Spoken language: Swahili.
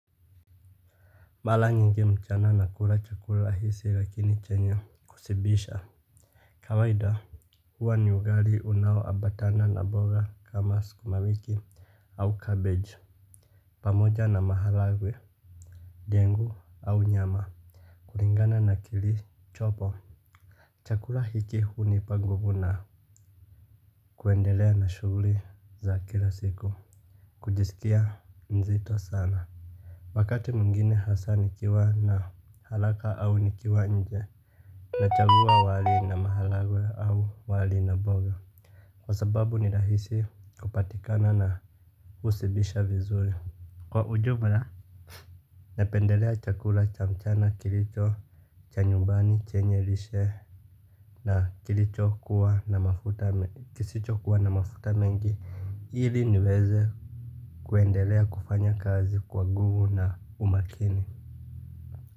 Mara nyingi mchana nakula chakula hizi lakini chenye kushibisha. Kawaida huwa ni ugali unaoambatana na mbora kama sukumawiki au cabeji pamoja na maharagwe ndengu au nyama kulingana na kilichopo. Chakula hiki hunipa nguvu na kuendelea na shughuli za kila siku kujisikia mzito sana. Wakati mwingine hasa nikiwa na haraka au nikiwa nje. Nachagua wali na maharagwe au wali na mboga. Kwa sababu ni rahisi kupatikana na hushibisha vizuri. Kwa ujumla, napendelea chakula cha mchana kilicho, cha nyumbani, chenye lishe. Na kilicho kuwa na mafuta kisichokuwa na mafuta mengi. Ili niweze kuendelea kufanya kazi kwa nguvu na umakini.